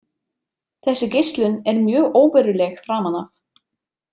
Þessi geislun er mjög óveruleg framan af.